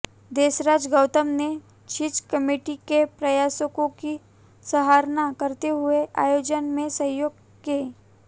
देसराज गौतम ने छिंज कमेटी के प्रयासों की सराहना करते हुए आयोजन में सहयोग के